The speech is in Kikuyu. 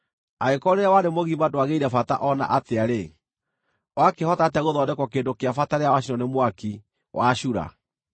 Angĩkorwo rĩrĩa warĩ mũgima ndwagĩire bata o na atĩa-rĩ, wakĩhota atĩa gũthondekwo kĩndũ kĩa bata rĩrĩa wacinwo nĩ mwaki, wacura?